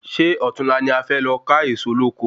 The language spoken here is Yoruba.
Sé òtunla ni e fe lọ ka Ẹ̀ẹ̀so lóko?